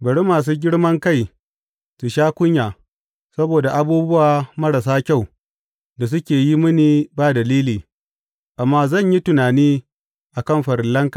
Bari masu girman kai su sha kunya saboda abubuwa marasa kyau da suke yi mini ba dalili; amma zan yi tunani a kan farillanka.